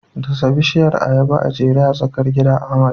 Dasa bishiyar ayaba jere a tsakar gida, Ahmad.